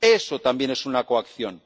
Eso también es una coacción.